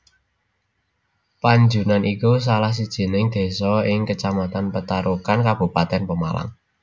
Panjunan iku salah sijining desa ing Kecamatan Petarukan Kabupatèn Pemalang